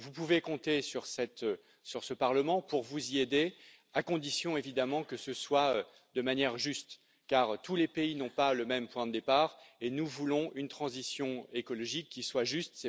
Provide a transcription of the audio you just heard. Vous pouvez compter sur ce Parlement pour vous y aider, à condition évidemment que ce soit de manière juste, car tous les pays n'ont pas le même point de départ et nous voulons une transition écologique qui soit juste.